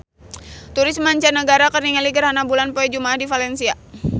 Turis mancanagara keur ningali gerhana bulan poe Jumaah di Valencia